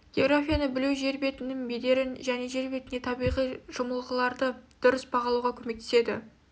географияны білу жер бетінің бедерін және жер бетіндегі табиғи жымылғыларды дұрыс бағалауға көмектеседі